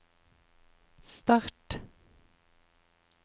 start